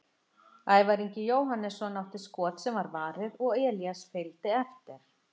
Ævar Ingi Jóhannesson átti skot sem var varið og Elías fylgdi eftir.